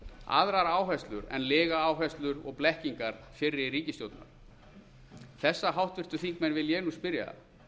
aðrar áherslur en lygaáherslur og blekkingar fyrri ríkisstjórna þessa háttvirtir þingmenn vil ég nú spyrja